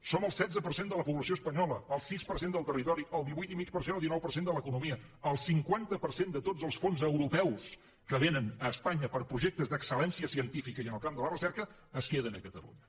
som el setze per cent de la població espanyola el sis per cent del territori el divuit i mig per cent o dinou per cent de l’economia el cinquanta per cent de tots els fons europeus que vénen a espanya per a projectes d’excel·lència científica i en el camp de la recerca es queden a catalunya